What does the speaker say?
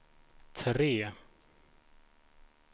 tre